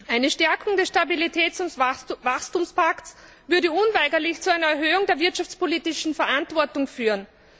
Eine Stärkung des Stabilitäts und Wachstumspakts würde unweigerlich zu einer Erhöhung der wirtschaftspolitischen Verantwortung führen.